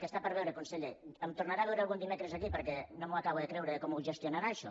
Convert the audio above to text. que està per veure conseller em tornarà a veure algun dimecres aquí perquè no m’acabo de creure com ho gestionarà això